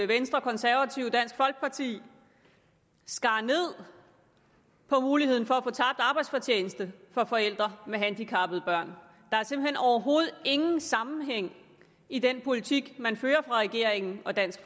venstre konservative og dansk folkeparti skar ned på muligheden for at få tabt arbejdsfortjeneste for forældre med handicappede børn der er simpelt hen overhovedet ingen sammenhæng i den politik man fører fra regeringen og dansk